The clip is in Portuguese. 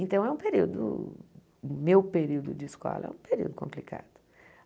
Então é um período, o meu período de escola, é um período complicado.